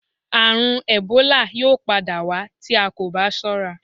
Àrùn ẹ̀bólà yóò padà wá tí a kò bá sọ́ra